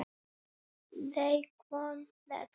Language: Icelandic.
Það vita þær hjá